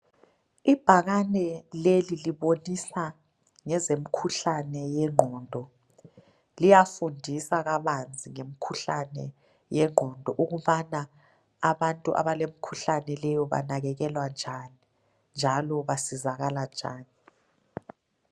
ibhakane leli libonisa ngezemkhuhlane yengqondo liyafundisa kabanzi ngemkhuhlane yengqondo ukubana abantu abalemikhuhlane leyo banakekelwa njani njalo basizakala njani